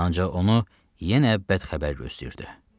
Ancaq onu yenə bədxəbər gözləyirdi.